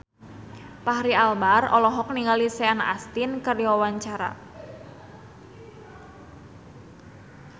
Fachri Albar olohok ningali Sean Astin keur diwawancara